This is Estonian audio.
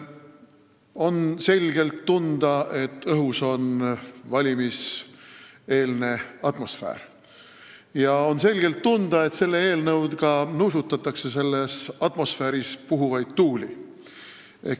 On selgelt tunda valimiseelset atmosfääri ja on selgelt tunda, et selle eelnõuga nuusutatakse selles atmosfääris puhuvaid tuuli.